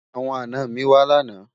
àwọn àná mí wà lànà